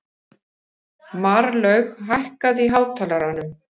Marlaug, lækkaðu í hátalaranum.